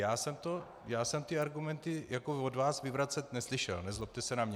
Já jsem ty argumenty od vás vyvracet neslyšel, nezlobte se na mě.